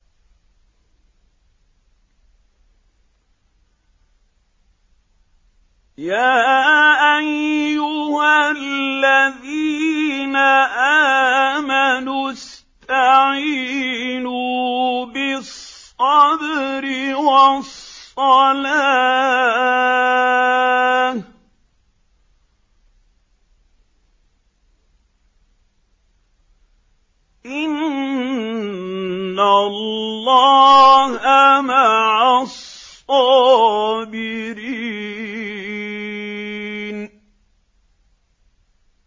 يَا أَيُّهَا الَّذِينَ آمَنُوا اسْتَعِينُوا بِالصَّبْرِ وَالصَّلَاةِ ۚ إِنَّ اللَّهَ مَعَ الصَّابِرِينَ